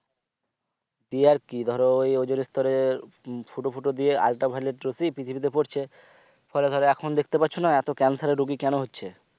দিয়ে আর কি ধরো ওই ওজোনস্তরে ফুটো ফুটো দিয়ে ultra violet রশ্মি পৃথিবী তে পড়ছে ফলে ধরো এখন দেখতে পারছোনা এতো cancer এর রুগী কেন হচ্ছে